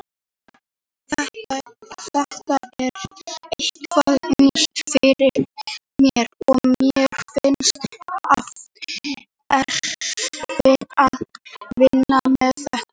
Þetta er eitthvað nýtt fyrir mér og mér finnst erfitt að vinna með þetta.